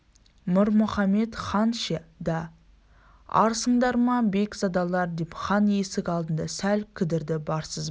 мір мұхамед хан ше да арсыңдар ма бек-задалар деп хан есік алдында сәл кідірді барсыз ба